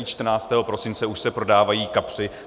I 14. prosince se už prodávají kapři.